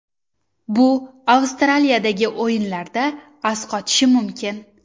Bu Avstraliyadagi o‘yinlarda asqotishi mumkin.